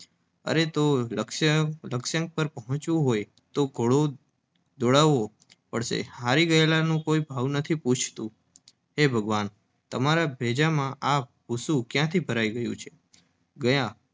અરે તો? લક્ષ્યાંક પર પહોંચવું હોય તો ઘોડો દોડાવવો પડશે હારી ગયેલાનો કોઈ ભાવ પૂછતું નથી. હે ભગવાન! તમારા ભેજામાં ક્યાંથી આ ભૂસું ભરાયું છે? ગયા